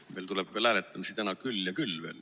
Meil tuleb hääletamisi täna küll ja küll veel.